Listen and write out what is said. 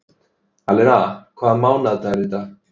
Alena, hvaða mánaðardagur er í dag?